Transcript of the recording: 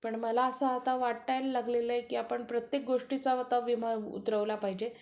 पण मला आता असं वाटायला लागलं आहे की आपण प्रत्येक गोष्टीचा विमा उतरवला पाहिजे